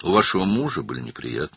Ərinizin çətinlikləri vardı.